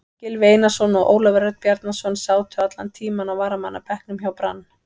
Gylfi Einarsson og Ólafur Örn Bjarnason sátu allan tímann á varamannabekknum hjá Brann.